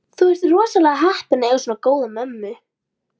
Þú ert rosalega heppinn að eiga svona góða mömmu.